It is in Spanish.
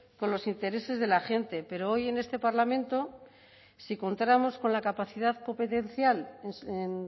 con los intereses de la gente pero hoy en este parlamento si contáramos con la capacidad competencial en